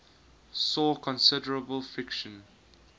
saw considerable friction